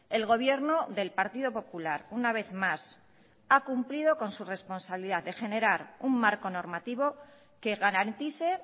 el gobierno del partido popular una vez más ha cumplido con su responsabilidad de generar un marco normativo que garantice